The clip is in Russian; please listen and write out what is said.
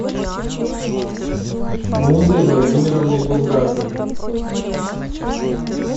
музой владимировной булгаковой